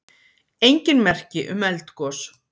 Engin merki um eldgos